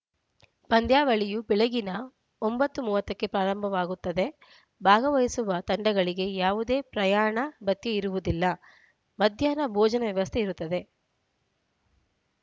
ಪಂದ್ಯಾವಳಿಯು ಬೆಳಗಿನ ಒಂಬತ್ತು ಮೂವತ್ತಕ್ಕೆ ಪ್ರಾರಂಭವಾಗುತ್ತದೆ ಭಾಗವಹಿಸುವ ತಂಡಗಳಿಗೆ ಯಾವುದೇ ಪ್ರಯಾಣ ಭತ್ಯೆಇರುವುದಿಲ್ಲ ಮಧ್ಯಾಹ್ನ ಭೋಜನದ ವ್ಯವಸ್ಥೆ ಇರುತ್ತದೆ